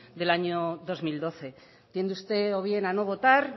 del año dos mil doce tiende usted o bien a no votar